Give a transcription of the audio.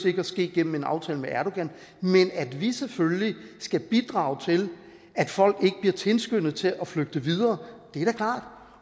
ikke at ske gennem en aftale med erdogan men at vi selvfølgelig skal bidrage til at folk ikke bliver tilskyndet til at flygte videre